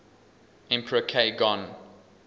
emperor k gon